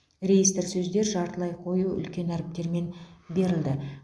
реестр сөздер жартылай қою үлкен әріптермен берілді